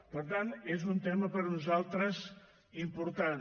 per tant és un tema per nosaltres important